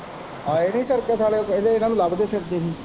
ਆਏ ਨੀ ਸਰਕਸ ਆਲੇ ਇਨਾਂ ਨੂੰ ਲੱਭਦੇ ਫਿਰਦੇ ਹੀ।